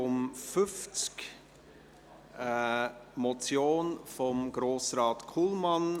Es handelt sich um eine Motion von Grossrat Kullmann.